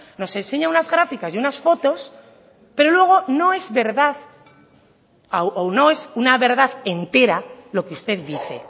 nos enseña unas gráficas y unas fotos pero luego no es verdad o no es una verdad entera lo que usted dice